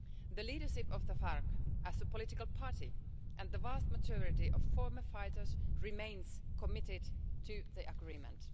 The leadership of the FARC as a political party and the vast majority of former fighters remain committed to the agreement.